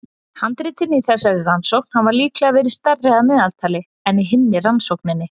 Handritin í þessari rannsókn hafa líklega verið stærri að meðaltali en í hinni rannsókninni.